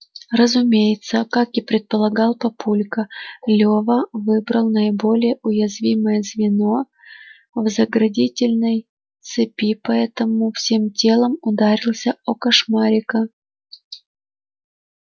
разумеется как и предполагал папулька лёва выбрал наиболее уязвимое звено в заградительной цепи поэтому всем телом ударился о кошмарика